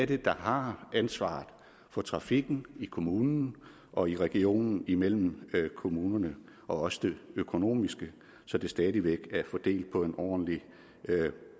det er der har ansvaret for trafikken i kommunen og i regionen og imellem kommunerne og også det økonomiske så det stadig væk er fordelt på en ordentlig